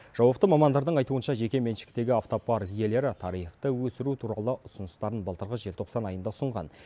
жауапты мамандардың айтуынша жеке меншіктегі автопарк иелері тарифті өсіру туралы ұсыныстарын былтырғы желтоқсан айында ұсынған